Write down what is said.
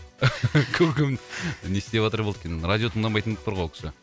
көкем не істеп атыр болды екен радио тыңдамайтын болып тұр ғой ол кісі